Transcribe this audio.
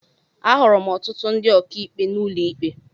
Ahụrụ m ọtụtụ ndị ọkàikpe n'ụlọ ikpe.